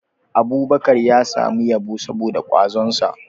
Abubakar ya samu yabo saboda kwazonsa